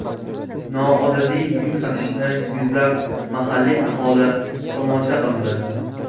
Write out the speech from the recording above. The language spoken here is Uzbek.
Noodatiy yuk tashishni yuzlab mahalliy aholi tomosha qildi.